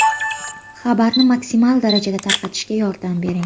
Xabarda maksimal darajada tarqatishga yordam bering!